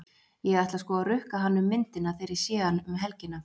Ég ætla sko að rukka hann um myndina þegar ég sé hann um helgina.